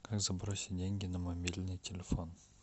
как забросить деньги на мобильный телефон